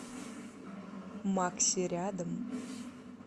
макси рядом